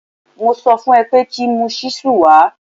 Mo sọ fún un ẹ pé kí mu ṣíṣù wa